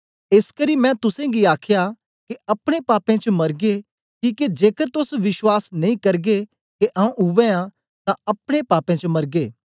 एसकरी मैं तुसेंगी आख्या के अपने पापें च मरगे किके जेकर तोस विश्वास नेई करगे के आऊँ उवै आं तां अपने पापें च मरगे